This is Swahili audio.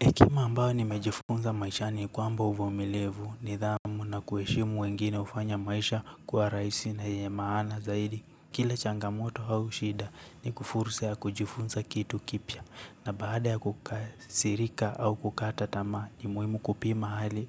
Hekima ambayo nimejifunza maishani ni kwamba uvumilivu nidhamu na kuheshimu wengine hufanya maisha kuwa rahisi na ya maana zaidi. Kila changamoto au shida ni fursa ya kujifunza kitu kipya na baada ya kukasirika au kukata tamaa ni muhimu kupima hali